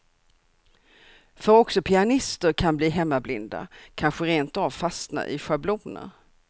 För också pianister kan bli hemmablinda, kanske rent av fastna i schabloner.